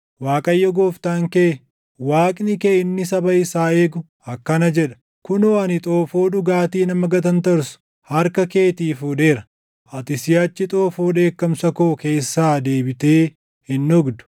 Waaqayyo Gooftaan kee, Waaqni kee inni saba isaa eegu akkana jedha: “Kunoo ani xoofoo dhugaatii nama gatantarsu harka keetii fuudheera; ati siʼachi xoofoo dheekkamsa koo keessaa deebitee hin dhugdu.